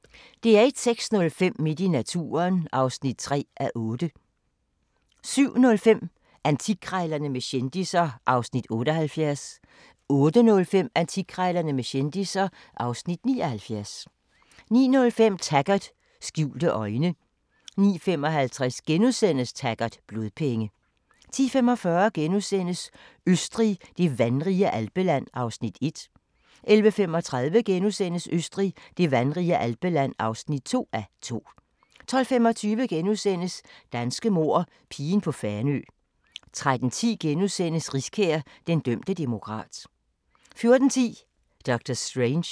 06:05: Midt i naturen (3:8) 07:05: Antikkrejlerne med kendisser (Afs. 78) 08:05: Antikkrejlerne med kendisser (Afs. 79) 09:05: Taggart: Skjulte øjne 09:55: Taggart: Blodpenge * 10:45: Østrig – det vandrige alpeland (1:2)* 11:35: Østrig – det vandrige alpeland (2:2)* 12:25: Danske mord – Pigen på Fanø * 13:10: Riskær – Den dømte demokrat * 14:10: Doctor Strange